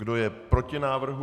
Kdo je proti návrhu?